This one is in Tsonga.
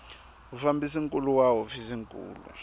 mufambisi nkulu wa hofisi nkulu